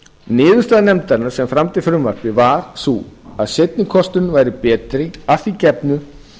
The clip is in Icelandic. niðurstaða nefndarinnar sem samdi frumvarpið var sú að seinni kosturinn væri betri að því gefnu